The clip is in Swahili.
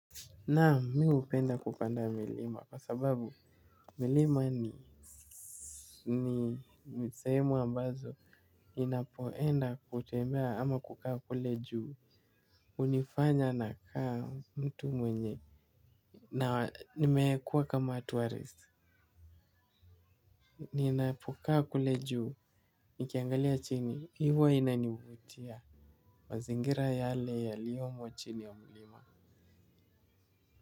Naam mi upenda kupanda milima kwa sababu milima ni ni seemu ambazo ninapoenda kutembea ama kukaa kule juu. Unifanya nakaa mtu mwenye. Na nimeekuwa kama tourist. Ninapo kaa kule juu. Nikiangalia chini hivo inaniuvutia. Mazingira yale yaliyomo chini ya milima.